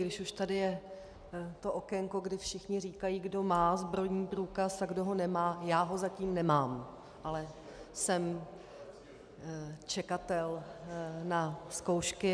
Když už tady je to okénko, kdy všichni říkají, kdo má zbrojní průkaz a kdo ho nemá - já ho zatím nemám, ale jsem čekatel na zkoušky.